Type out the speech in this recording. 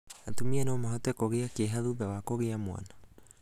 Atumia no mahote kũgia kĩeha thutha wa kũgĩa mwana,